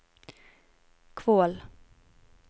Kvål